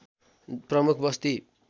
प्रमुख बस्ती